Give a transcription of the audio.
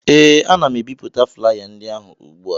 ee, ana m ebipụta flaya ndị ahụ ugbu a